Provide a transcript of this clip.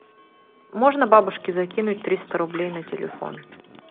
можно бабушке закинуть триста рублей на телефон